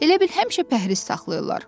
Elə bil həmişə pəhriz saxlayırlar.